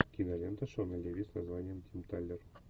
кинолента шона леви с названием тим талер